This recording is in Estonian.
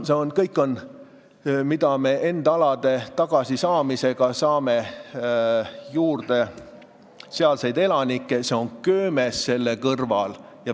See, kui palju me enda alade tagasisaamisega saame juurde sealseid elanikke, on köömes selle kõrval.